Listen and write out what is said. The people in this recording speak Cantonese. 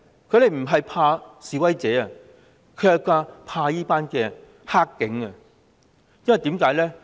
他們不是怕示威者，而是怕"黑警"，為甚麼呢？